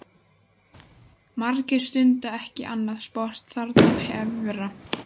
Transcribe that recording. Margir stunda ekki annað sport þarna efra.